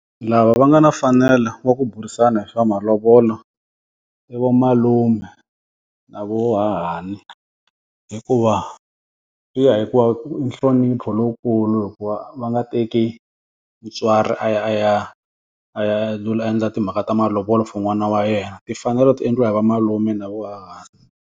Lava va nga na mfanelo wa ku burisana hi swa malovolo, i va malume na va hahani. Hikuva, swi ya hikuva i nhlonipho lowukulu hi ku va va va nga teki mutswari a ya a ya a ya endla timhaka ta malovolo for n'wana wa yena. Timfanelo ti endliwa hi va malume na va hahani.